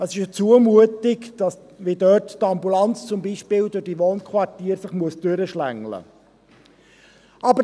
Es ist eine Zumutung, wie sich dort zum Beispiel die Ambulanz durch diese Wohnquartiere hindurchschlängeln muss.